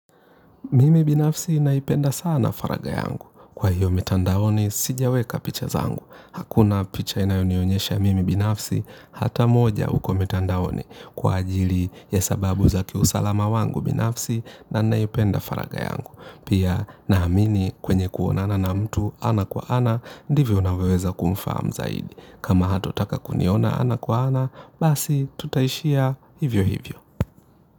Mimi binafsi naipenda sana faraga yangu. Kwa hiyo mitandaoni, sijaweka picha zangu. Hakuna picha inayonionyesha mimi binafsi, hata moja uko mitandaoni kwa ajili ya sababu za kiusalama wangu binafsi na naipenda faragha yangu. Pia naamini kwenye kuonana na mtu ana kwa ana, ndivyo unavyoweza kumfahamu zaidi. Kama hato taka kuniona ana kwa ana, basi tutaishia hivyo hivyo.